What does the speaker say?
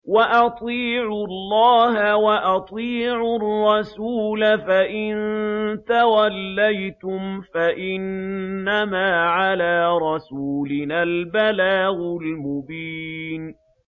وَأَطِيعُوا اللَّهَ وَأَطِيعُوا الرَّسُولَ ۚ فَإِن تَوَلَّيْتُمْ فَإِنَّمَا عَلَىٰ رَسُولِنَا الْبَلَاغُ الْمُبِينُ